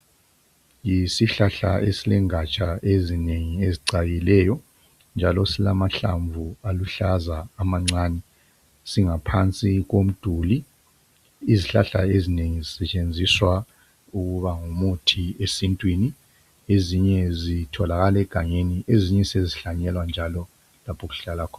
Yisihlahla esilengaja ezinengi ezicakileyo njalo silamhlamvu aluhlaza amancani. Singaphansi komduli. Izihlahla ezinengi zisetshenziswa ukuba ngumuthi esintwini ezinye zitholakalegangeni. Ezinye sezihlanyelwa njalo lapho okuhlala kho.